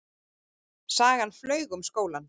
Sagan flaug um skólann.